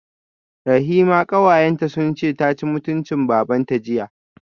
Rahima kawayenta sunce taci mutuncin babanta jiya